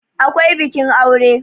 akwai bikin aure